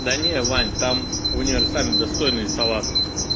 да не вань там в универсаме достойные салаты